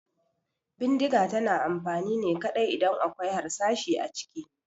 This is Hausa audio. Bindiga tana da amfani ne kaɗai idan akwai harsashi a ciki